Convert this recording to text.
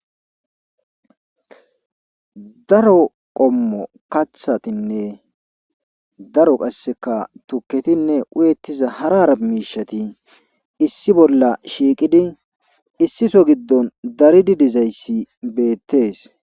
Daro qommo kathatinne daro qassika tukketinne uyettiza hara hara miishsheti issi bolla shiiqidi issi so giddon daridi dizayssi beettes.